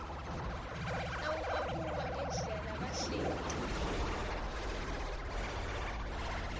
nawubabuka ngendlela labahleti